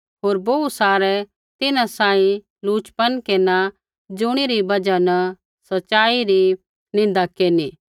होर बोहू सारै तिन्हां सांही लुचपन केरना ज़ुणी री बजहा न सच़ाई री निन्दा केरनी